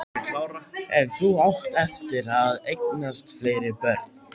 En þú átt eftir að eignast fleiri börn.